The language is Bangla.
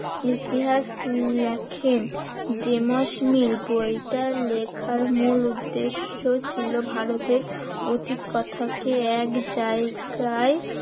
ইতিহাস লেখেন ডেমোসমিল। বইটা লেখার মূল উদ্দেশ্য ছিল ভারতের অতীত কথাকে এক জায়গায়